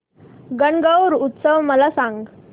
गणगौर उत्सव मला सांग